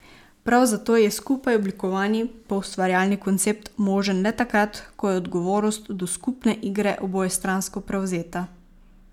Prav zato je skupaj oblikovani poustvarjalni koncept možen le takrat, ko je odgovornost do skupne igre obojestransko prevzeta.